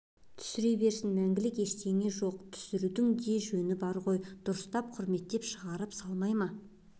түсіре берсін мәңгілік ештеңе жоқ түсірудің де жөні бар ғой дұрыстап құрметпен шығарып салмай ма